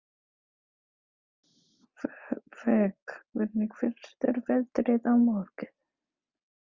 Vök, hvernig verður veðrið á morgun?